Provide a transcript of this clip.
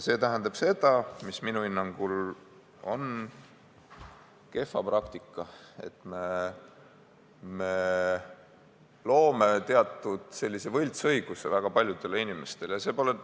See tähendab seda – mis minu hinnangul on kehv praktika –, et me loome väga paljudele inimestele teatud võltsõiguse.